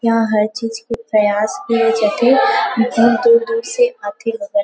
यहां हर चीज़ के प्रयास किये जाथे अतना दूर - दूर से आथे।